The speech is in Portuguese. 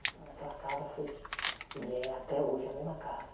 Aquela casa foi... E é até hoje a mesma casa.